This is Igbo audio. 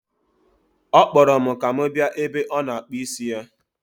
Ọ kpọrọ m ka m bịa ebe ọ nọ akpụ isi ya.